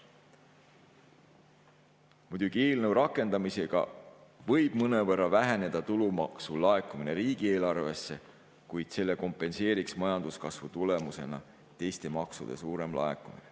Muidugi, eelnõu rakendamisega võib mõnevõrra väheneda tulumaksu laekumine riigieelarvesse, kuid selle kompenseeriks majanduskasvu tulemusena teiste maksude suurem laekumine.